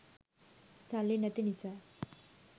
සල්ලි නැති නිසා